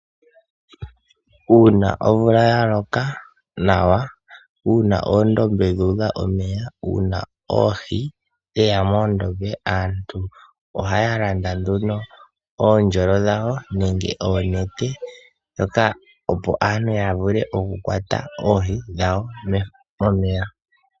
Uuna omvula ya loka nawa, uuna oondombe dha udha omeya, uuna oohi dheya moondombe aantu ohaya landa nduno oondjolo dha wo nenge oonete, opo aantu ya vule oku kwata oohi dha wo momeya.